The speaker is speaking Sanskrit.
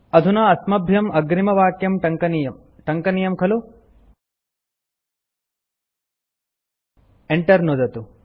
अधुना अस्मभ्यं अग्रिमवाक्यं टङ्कनीयम् टङ्कनीयं खलु Enter नुदतु